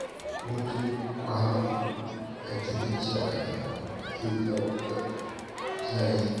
Hutun kwana uku a gidan shakatawa zai dawo da kuzari.